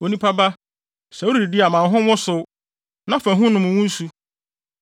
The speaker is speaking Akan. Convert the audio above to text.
“Onipa ba, sɛ woredidi a ma wo ho nwosow, na fa hu nom wo nsu.